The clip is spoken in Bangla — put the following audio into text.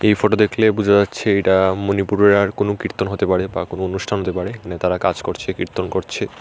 এই ফোটো দেখলে বুঝা যাচ্ছে এটা মনিপুরের আর কোনো কীর্তন হতে পারে বা কোনো অনুষ্ঠান হতে পারে এখানে তারা কাজ করছে কীর্তন করছে।